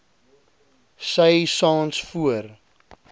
sy saans voor